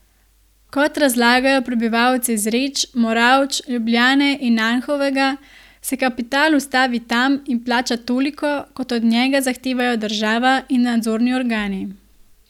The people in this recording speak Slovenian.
Kot razlagajo prebivalci Zreč, Moravč, Ljubljane in Anhovega, se kapital ustavi tam in plača toliko, kot od njega zahtevajo država in nadzorni organi.